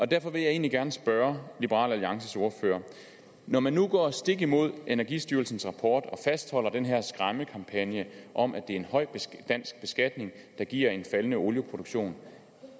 derfor vil jeg egentlig gerne spørge liberal alliances ordfører når man nu går stik imod energistyrelsens rapport og fastholder den her skræmmekampagne om at det er en høj dansk beskatning der giver en faldende olieproduktion